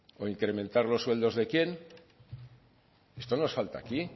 o incrementar los sueldos de quién esto nos falta aquí